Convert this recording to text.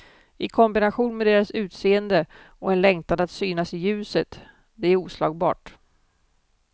I kombination med deras utseende och en längtan att synas i ljuset, det är oslagbart.